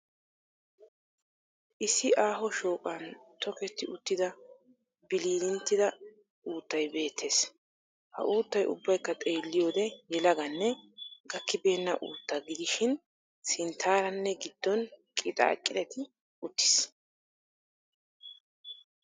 Issi aaho shooqan tokkeetti uttida bililinttida uttay beettees. Ha uuttay ubbaykka xeelliyode yelaganne gakkibeenna uuttaa gidishin sinttaaranne gidon qixxaqixetti uttiis.